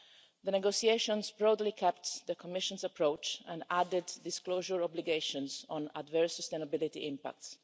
The negotiations broadly kept the Commission's approach and added disclosure obligations on adverse sustainability impacts.